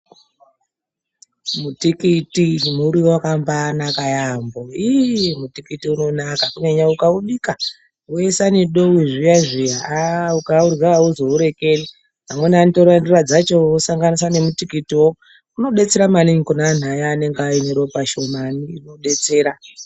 Mutikiti muriwo wakambanaka yambo, iiii mutikiti unonaka kunyanya ukaubika woisa nedowi zviya zviya aaa ukaurya auzourekeri , amweni anotora ndora dzacho osanganisa nemutikitiwo, inodetsera maningi kune anhu aya anenge anine ropa shomani inodetsera.